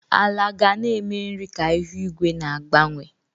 Ala ga na-eme nri ka ihu igwe na-agbanwe.